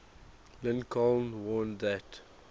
lincoln warned that